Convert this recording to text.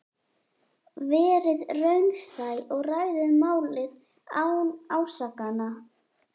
Verið raunsæ og ræðið málið án ásakana.